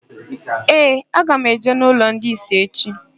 Ee, aga m eje n'ụlọ ndị ìsì echi.